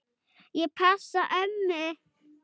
Ég passa ömmu.